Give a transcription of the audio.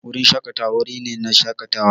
Wurin shaƙatawa wuri ne na shaƙatawa.